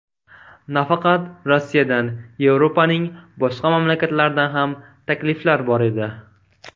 Nafaqat Rossiyadan, Yevropaning boshqa mamlakatlaridan ham takliflar bor edi.